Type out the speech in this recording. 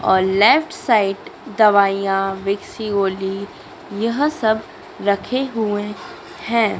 और left side दवाइयां विक्सिगोल्डी यह सब रखे हुए हैं।